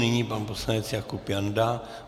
Nyní pan poslanec Jakub Janda.